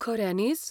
खऱ्यांनीच!?